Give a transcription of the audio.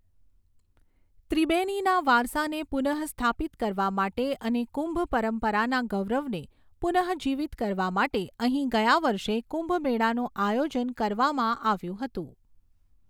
ત્રિબેનીના વારસાને પુનઃસ્થાપિત કરવા માટે અને કુંભ પરંપરાના ગૌરવને પુનઃજીવીત કરવા માટે અહીં ગયા વર્ષે કુંભમેળાનું આયોજન કરવામાં આવ્યું હતું.